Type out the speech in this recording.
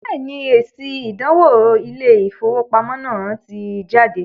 Bẹ́ẹ̀ni, èsì “ ìdánwò Ilé-ìfowópamọ́ ” náà ti jáde